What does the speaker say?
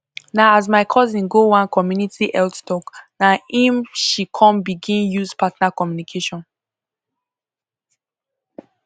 na as my cousin go one community health talk na em she come begin use partner communication